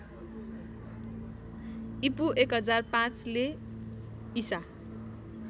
ईपू १००५ ले ईसा